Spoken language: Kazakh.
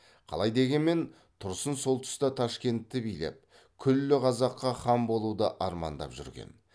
қалай дегенмен тұрсын сол тұста ташкентті билеп күллі қазаққа хан болуды армандап жүрген